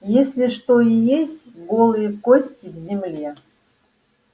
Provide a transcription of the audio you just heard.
если что и есть голые кости в земле